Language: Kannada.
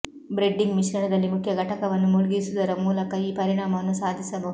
ಬ್ರೆಡ್ಡಿಂಗ್ ಮಿಶ್ರಣದಲ್ಲಿ ಮುಖ್ಯ ಘಟಕವನ್ನು ಮುಳುಗಿಸುವುದರ ಮೂಲಕ ಈ ಪರಿಣಾಮವನ್ನು ಸಾಧಿಸಬಹುದು